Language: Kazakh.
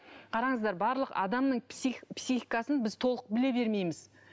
қараңыздар барлық адамның психикасын біз толық біле бермейміз